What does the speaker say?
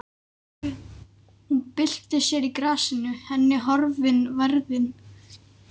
Hún byltir sér í grasinu, henni horfin værðin.